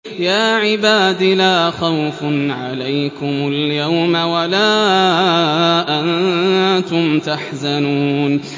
يَا عِبَادِ لَا خَوْفٌ عَلَيْكُمُ الْيَوْمَ وَلَا أَنتُمْ تَحْزَنُونَ